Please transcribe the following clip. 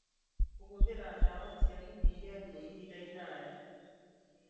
Kũhũthĩra ndawa cia kũnyihia ruo ihinda iraya